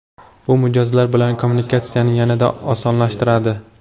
Bu mijozlar bilan kommunikatsiyani yanada osonlashtiradi.